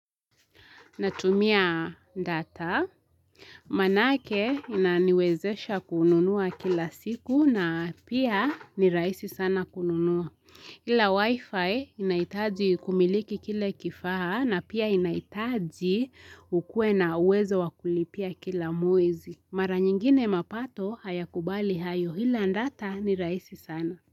Natumia data, maanake inaniwezesha kununua kila siku na pia nirahisi sana kununua. Ila wifi inahitaji kumiliki kile kifaha na pia inaitaji ukue na uwezo wakulipia kila mwezi. Mara nyingine mapato haya kubali hayo hila data nirahisi sana.